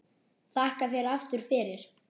Þakka þér aftur fyrir.